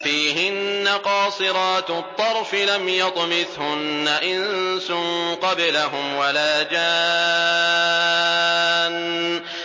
فِيهِنَّ قَاصِرَاتُ الطَّرْفِ لَمْ يَطْمِثْهُنَّ إِنسٌ قَبْلَهُمْ وَلَا جَانٌّ